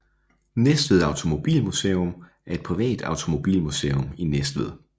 Næstved Automobilmuseum er et privat automobilmuseum i Næstved